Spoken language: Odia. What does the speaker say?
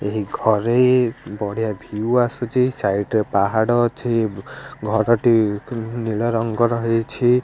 ଏଇଘରେ ବଢିଆ ଭିୟୁ ଆସୁଛି ସାଇଡ୍ ରେ ପାହାଡର ଅଛି ଘରଟି ନିଳ ରଙ୍ଗ ହୋଇଛି।